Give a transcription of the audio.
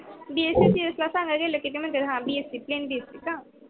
csc ला सांगायला गेल की नंतर प्लेन bsc.